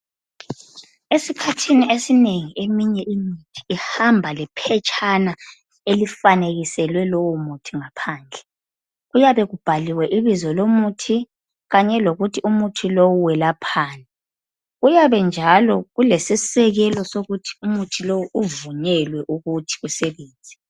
Esikhathini esinengi eminye imithi ihamba lephetshana elifanikelwe lowo muthi ngaphandle, kuyabe kubhaliwe ibizo lomuthi, kanye lokuthi umuthi lowu welaphanni, kuyabe njalo kulesisekelo sokuthi umuthi lowu uvunyelwe ukuthi usebenze.